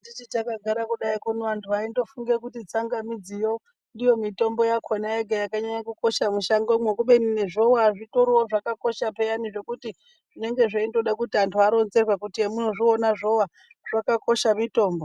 Tichiti takagara kuno vantu vaindofunga kuti tsangamidziyo ndiyo mitombo yoga yakanyanya kukosha mushango. Kubeni nezvova zvitorivo zvakakosha peyani zvokuti zvinonga zveindoda kuti antu aronzerwe kuti amuno zviona zvova zvakakosha mitombo.